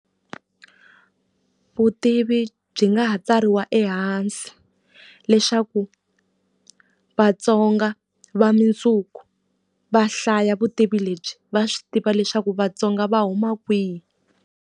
Vutivi byi nga ha tsariwa ehansi leswaku vatsonga va mundzuku va hlaya vutivi lebyi, va swi tiva leswaku vatsonga va huma kwihi.